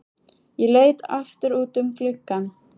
Ég leit aftur út um gluggann.